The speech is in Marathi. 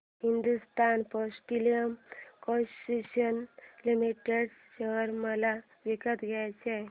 Hindustan petroleum corporation limited share मला विकत घ्यायचे आहेत